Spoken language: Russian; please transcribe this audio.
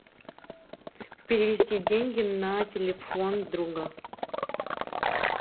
перевести деньги на телефон друга